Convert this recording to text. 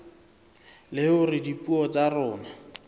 le hore dipuo tsa rona